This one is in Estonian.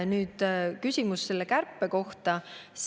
Nüüd, küsimus selle kärpe kohta.